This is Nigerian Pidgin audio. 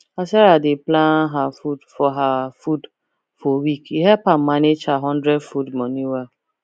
as sarah dey plan her food for her food for week e help am manage her hundred food money well